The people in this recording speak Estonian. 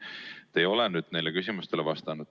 Te ei ole neile küsimustele vastanud.